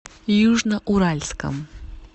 южноуральском